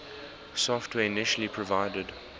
software initially provided